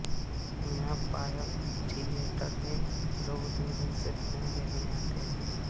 यहाँ पायल थियेटर में लोग दूरदूर से फिल्म देखने आते हैं